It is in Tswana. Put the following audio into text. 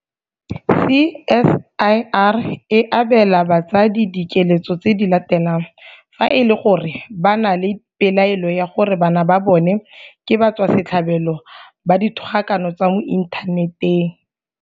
CSIR e abela batsadi dikeletso tse di latelang fa e le gore ba na le pelaelo ya gore bana ba bona ke batswasetlhabelo ba dithogakano tsa mo inthaneteng.